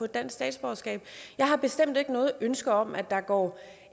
dansk statsborgerskab jeg har bestemt ikke noget ønske om at der går